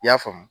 I y'a faamu